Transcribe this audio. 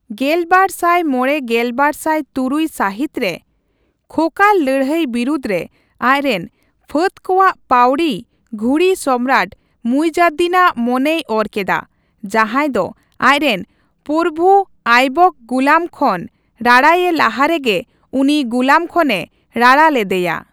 ᱜᱮᱞᱵᱟᱨ ᱥᱟᱭ ᱢᱚᱲᱮᱼ ᱜᱮᱞᱵᱟᱨᱥᱟᱭ ᱛᱩᱨᱩᱭ ᱥᱟᱹᱦᱤᱛᱨᱮ ᱠᱷᱳᱠᱷᱟᱨ ᱞᱟᱹᱲᱦᱟᱹᱭ ᱵᱤᱨᱩᱫᱷᱨᱮ ᱟᱡᱽᱨᱮᱱ ᱯᱷᱟᱹᱫ ᱠᱚᱣᱟᱜ ᱯᱟᱹᱣᱲᱤ ᱜᱷᱩᱨᱤ ᱥᱚᱢᱨᱟᱴ ᱢᱩᱭᱡᱟᱫᱫᱤᱱᱼᱟᱜ ᱢᱚᱱᱮᱭ ᱚᱨ ᱠᱮᱫᱟ, ᱡᱟᱸᱦᱟᱭ ᱫᱚ ᱟᱡᱽᱨᱮᱱ ᱯᱚᱨᱵᱷᱩ ᱟᱭᱵᱚᱠ ᱜᱩᱞᱟᱹᱢ ᱠᱷᱚᱱ ᱨᱟᱲᱟᱭᱮ ᱞᱟᱦᱟᱨᱮᱜᱮ ᱩᱱᱤ ᱜᱩᱞᱟᱹᱢ ᱠᱷᱚᱱᱮ ᱨᱟᱲᱟ ᱞᱮᱫᱮᱭᱟ ᱾